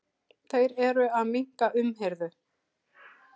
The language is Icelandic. Þeir eru að minnka umhirðu.